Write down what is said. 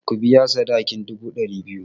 Ku biya sadakin dubu ɗari biyu!